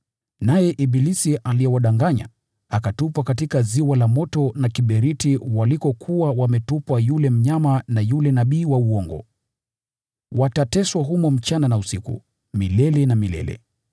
Naye ibilisi aliyewadanganya akatupwa katika ziwa la moto na kiberiti walikokuwa wametupwa yule mnyama na yule nabii wa uongo. Watateswa humo usiku na mchana, milele na milele.